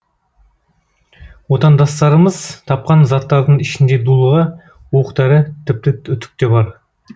отандастарымыз тапқан заттардың ішінде дулыға оқ дәрі тіпті үтік те бар